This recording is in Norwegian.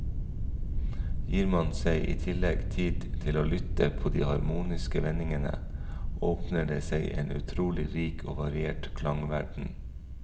Gir man seg i tillegg tid til å lytte på de harmoniske vendingene, åpner det seg en utrolig rik og variert klangverden.